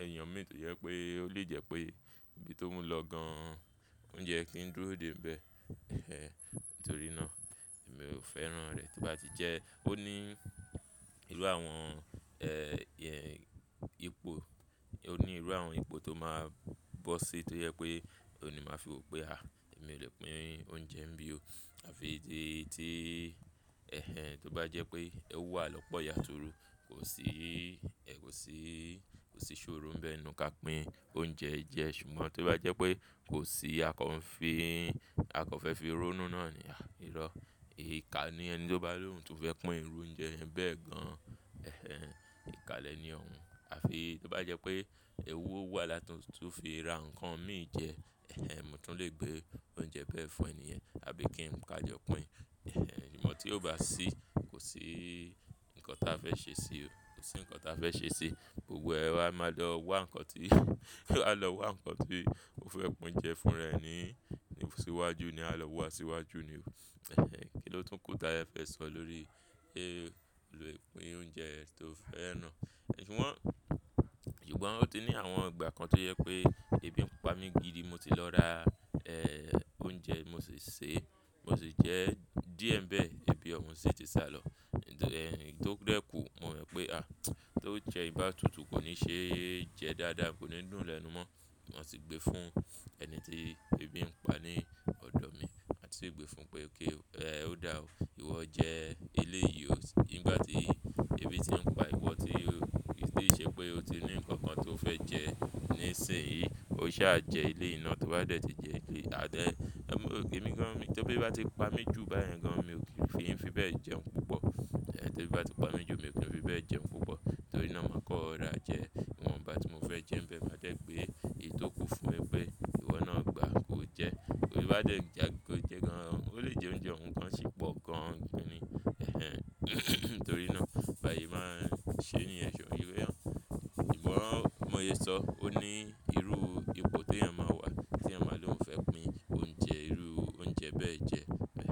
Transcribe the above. èèyàn mi tó jẹ́ pé ó lè jẹ́ pé níbi tóún lọ gan-an oúnjẹ tí ń dúró dè ẹ́ bẹ́ẹ̀. Ẹhẹ́n, nítorí náà èmi ò fẹ́ràn rẹ̀. Tí ó bá ti jẹ́ ó ní irú àwọn, ẹ́ẹ̀, ipò, ó ní irú àwọn ipò tó máa bọ́ sí tó jẹ́ pé òun ni màá fi wọ̀ pé, à, èmi ò lè pín oúnjẹ bí o. Àfi di tí, ẹhẹ́n, tó bá jẹ́ pé ẹ wà lọ́pọ̀ yànturu, kò sí, kò sí, kò sí sórò ńbẹ nù ká pín oúnjẹ jẹ. Ṣùgbọ́n tó bá jẹ́ pé kò sí akọ fi, akọ fẹ́ fi rónú náà ni, à, irọ́, ikà ni ẹni tó bá lóhùn tun fẹ́ pín irú oúnjẹ bẹ́ẹ̀ gan-an. Ẹhẹ́n, ìká lẹ̀ni òhun. Àfi tó bá jẹ́ pé ewú wà láti fi ra nǹkan mi jẹ, èhẹ́n, mo tún lè gbé oúnjẹ bẹ́ẹ̀ fún ẹni ẹ̀, àbí kí n kájọ pín. Ẹhẹ́n, ṣùgbọ́n tí ó bá sí, kò sí nǹkan tí a fẹ́ ṣe sí i o. Kò sí nǹkan tí a fẹ́ ṣe sí i. Gbogbo ẹ wa máa lọ wá nǹkan tí, máa lọ wá nǹkan tí mo fẹ́ pín oúnjẹ fúnra ẹ ní síwájú ni. A lọ wá síwájú ni o. Ẹhẹ́n, kí ló tún kù tí ẹ fẹ́ sọ lórí èrò ìpín oúnjẹ tí o fẹ́ ràn. Ṣùgbọ́n, ṣùgbọ́n ó ti ní àwọn ìgbà kan tó jẹ́ pé ebi ń pa mi gidi, mo ti lọ ra, ẹ́ẹ̀, oúnjẹ, mo sì sè é, mo sì jẹ́ díẹ̀ bẹ́ẹ̀, ebi òun sì ti sá lọ. Ǹtò ẹ́ẹ̀, nítorí ó dé kù, mo mọ̀ pé, à, tó jẹ ìbátutù kò ní ṣe é jẹ dáadáa, kò ní dùn lẹ́nu mọ́. Mo sì gbé fún ẹni tí ebi ń pa ní ọ̀dọ̀ mi. Àti sì gbé fún pé kí ó dá òun. Ìwọ jẹ ilé yìí. Nígbà tí ebi tí ń pa ìwọ tí kò ti ṣe pé ó ti ní nǹkan kan tó fẹ́ jẹ nísìnyí, o sì máa jẹ ilé náà tó bá dẹ̀ ti jẹ ìpín adé. Ọ̀ún, mo rò pé mí gan, tí ebi bá ti pa mí jù báyìí gan, mi kò fi ń fi bẹ́ẹ̀ jẹun púpọ̀. Ẹ̀ tí ebi bá ti pa mí jù, mi kò fi ń fi bẹ́ẹ̀ jẹun púpọ̀. Torí náà màá kọ́ ro5ra jẹ ìwọ̀n bá tí mo fẹ́ jẹ ń bẹ́ẹ̀ bá jẹ́ pé èyí tó kù fún mi pé ìwọ náà gbà kó jẹ. Torí bá dẹ̀ jagun kó jẹ gan-an, ó lè jẹ oúnjẹ òun gan, sì pọ̀ gan. Ẹhẹ́n, nítorí náà bá se máa ń ṣe ni ẹ̀ṣùn irú ẹ. Ṣùgbọ́n móye sọ, ó ní irú ipò tí ẹyan máa wà tí ẹ máa lóhùn fẹ́ pín oúnjẹ, irú oúnjẹ bẹ́ẹ̀ jẹ.